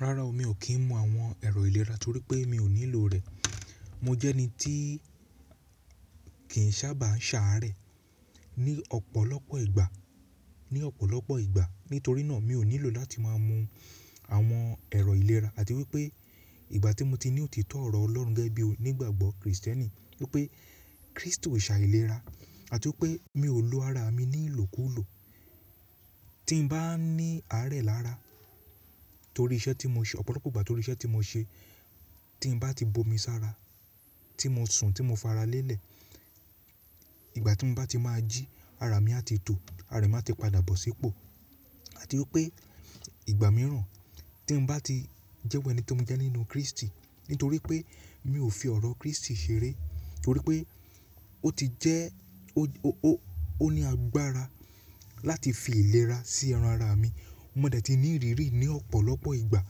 Rára, mi ò kí ń mu àwọn ẹ̀rọ ìlera torí pé mi ò nílò rẹ̀. Mo jẹ́ ẹni tí kì í sábà ń ṣàárẹ̀ ní ọ̀pọ̀lọpọ̀ ìgbà. Nítorí náà mi ò nílò láti máa mu àwọn ẹ̀rọ ìlera àti wípé ìgbà tí mo ti ní òtítọ́ ọ̀rọ̀ Ọlọ́run gẹ́gẹ́ bí onígbàgbọ́ Kristẹni wípé Kristi o ṣà ìlera àti wípé mi ò lo ara mi ní ìlò kú lò. Tí n bá ní àárẹ̀ lára torí iṣẹ́ tí mo ṣe, ọ̀pọ̀lọpọ̀ ìgbà torí iṣẹ́ tí mo ṣe, tí n bá ti bomi sára, tí mo sun, tí mo fara lélẹ̀, ìgbà tí mo bá ti máa jí, ara mi a ti tò, ara mi a ti padà bọ̀ sípò àti wípé ìgbà mìíràn tí n bá ti jẹ́wọ́ ẹni tí mo jẹ́ nínú Kristi nítorí pé mi ò fi ọ̀rọ̀ Kristi ṣeré torí pé ó ti jẹ́, ó ní agbára láti fi ìlera sí ẹran ara mi. Mo dè tí ní ìrírí i ní ọ̀pọ̀lọpọ̀ ìgbà.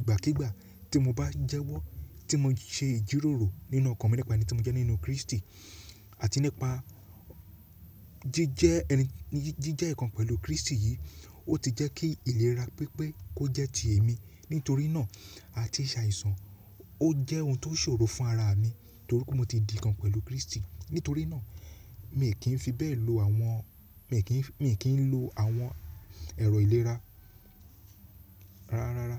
Igbakigba ti mo ba jewo ti mo se ijiroro ninu okan mi nipa eni ti mo je ninu kristi ati nipa jije ikan pelu kristi yii o ti je ki ilera pipe ko je ti emi. Nítorí náà a ti ṣàìsàn ó jẹ́ ohun tó ṣòro fún ara mi torí pé mo ti di ǹkan pẹ̀lú Kristi. Nítorí náà mi ò kí ń fi bẹ́ẹ̀ lo àwọn, mi ò kí ń lo àwọn ẹ̀rọ ìlera rárá.